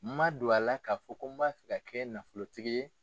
Ma don a la k'a fɔ ko n'a fɛ ka kɛ nafolotigi ye.